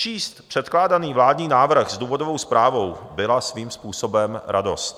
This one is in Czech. Číst předkládaný vládní návrh s důvodovou zprávou byla svým způsobem radost.